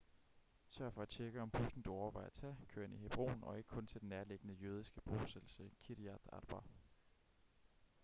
sørg for at tjekke om bussen du overvejer at tage kører ind i hebron og ikke kun til den nærliggende jødiske bosættelse kiryat arba